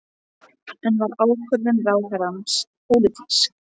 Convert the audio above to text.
En var ákvörðun ráðherrans pólitísk?